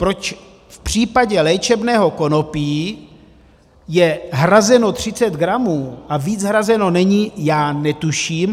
Proč v případě léčebného konopí je hrazeno 30 gramů a víc hrazeno není, já netuším.